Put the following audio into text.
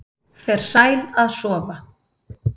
Fer sæl að sofa